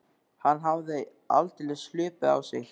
Hann hafði aldeilis hlaupið á sig.